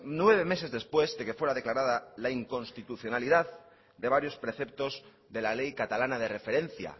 nueve meses después de que fuera declarada la inconstitucionalidad de varios preceptos de la ley catalana de referencia